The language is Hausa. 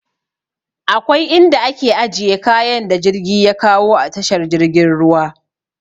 Akwai inda ake ajiye kayan da jirgi ya kawo a tashar jirgin ruwa.